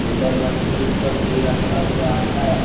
इधर मशीन सब भी रखा हुआ है।